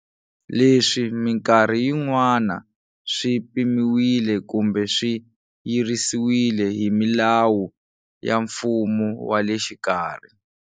Leswi minkarhi yin'wana swi pimiwile kumbe swi yirisiwile hi milawu ya mfumo wa le xikarhi.